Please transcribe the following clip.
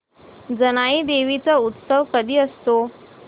जानाई देवी चा उत्सव कधी असतो